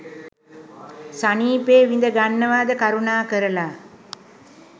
සනීපේ විඳ ගන්නවාද කරුණාකරලා